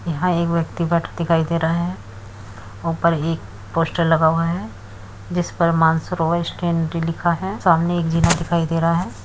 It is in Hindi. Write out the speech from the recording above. यहां एक व्यक्ति बैठा दिखाई दे रहा है। ऊपर एक पोस्टर लगा हुआ है। जिस पर मानसरोवर स्टेशनरी लिखा है। सामने एक जिना दिखाई दे रहा है।